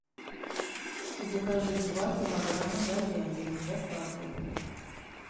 закажи два килограмма говядины с доставкой